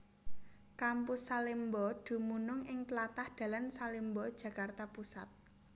Kampus Salemba dumunung ing tlatah dalan Salemba Jakarta Pusat